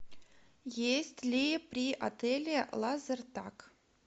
есть ли при отеле лазертаг